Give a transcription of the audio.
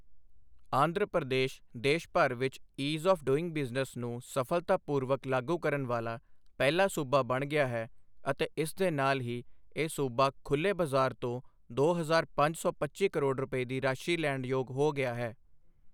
ਆਂਧਰਾ ਪ੍ਰਦੇਸ਼ ਦੇਸ਼ ਭਰ ਵਿੱਚ ਈਜ਼ ਆਫ ਡੂਈਂਗ ਬਿਜਨੇਸ ਨੂੰ ਸਫਲਤਾਪੂਰਵਕ ਲਾਗੂ ਕਰਨ ਵਾਲਾ ਪਹਿਲਾ ਸੂਬਾ ਬਣ ਗਿਆ ਹੈ ਅਤੇ ਇਸ ਦੇ ਨਾਲ ਹੀ ਇਹ ਸੂਬਾ ਖੁੱਲੇ ਬਜ਼ਾਰ ਤੋਂ ਦੋ ਹਜ਼ਾਰ ਪੰਜ ਸੌ ਪੱਚੀ ਕਰੋੜ ਰੁਪਏ ਦੀ ਰਾਸ਼ੀ ਲੈਣ ਯੋਗ ਹੋ ਗਿਆ ਹੈ।